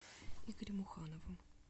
игорем ухановым